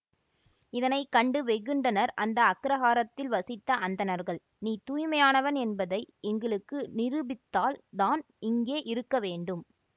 இதனை கண்டு வெகுண்டனர் அந்த அக்கிரஹாரத்தில் வசித்த அந்தணர்கள் நீ தூய்மையானவன் என்பதை எங்களுக்கு நிரூபித்தால் தான் இங்கே இருக்க வேண்டும்